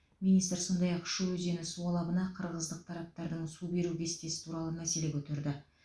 министр сондай ақ шу өзені су алабына қырғыздық тараптардың су беру кестесі туралы мәселе көтерді